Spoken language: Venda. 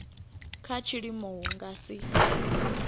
kha tshiimo hu nga si